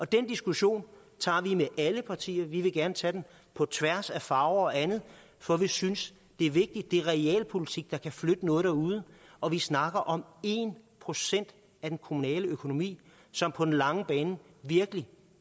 den diskussion tager vi med alle partier vi vil gerne tage den på tværs af farver og andet for vi synes det er vigtigt det er realpolitik der kan flytte noget derude og vi snakker om en procent af den kommunale økonomi som på den lange bane virkelig